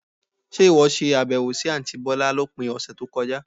Ṣe ìwọ ṣe àbẹ̀wò sì àntí bọ̀lá lópin ọ̀sẹ̀ tó kọjá?